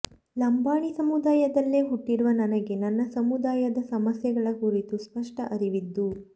ಲಂಬಾಣಿ ಸಮುದಾಯದಲ್ಲೇ ಹುಟ್ಟಿರುವ ನನಗೆ ನನ್ನ ಸಮುದಾಯದ ಸಮಸ್ಯೆಗಳ ಕುರಿತು ಸ್ಪಷ್ಟ ಅರಿವಿದ್ದು